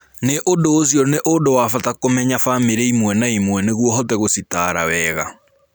Nĩ ũndũ ũcio, nĩ ũndũ wa bata kũmenya famĩrĩ ĩmwe na ĩmwe nĩguo ũhote gũcitaara wega.